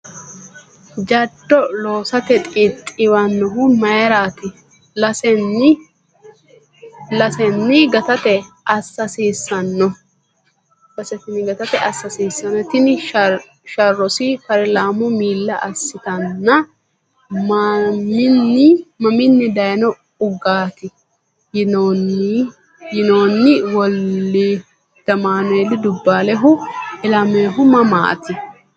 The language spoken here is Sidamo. jaddo loosate xixxiiwannohu mayraati? lasenni gatate assa hasiissanno? Tini sharrosi paarlaamu miilla assiteenna, “Maminni dayno uggaati? ” yinoonni Woldamaaneeli Dubbaalihu ilaminohu mamaati?